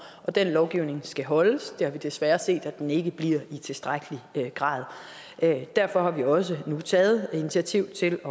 og den lovgivning skal holdes det har vi desværre set at den ikke bliver i tilstrækkelig grad derfor har vi også nu taget initiativ til